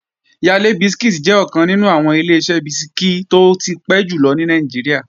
Yale bisikí jẹ́ ọ̀kan nínú àwọn Ileṣẹ́ bisikí tó ti pẹ́ jùlọ ní Nàìjíríà